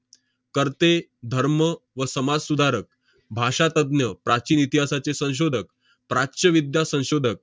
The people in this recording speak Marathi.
कर्ते, धर्म व समाजसुधारक, भाषा तज्ञ, प्राचीन इतिहासाचे संशोधक, प्राच्य विद्या संशोधक